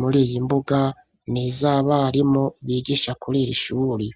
muri iyi mbuga nizabarimu bigisha kurir' ishuri.